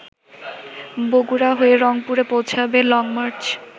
বগুড়া হয়ে রংপুরে পৌঁছাবে লংমার্চ